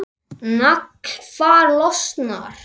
Naglfar losnar.